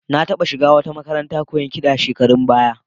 Na taɓa shiga wata makarantar koyon kiɗa shekarun baya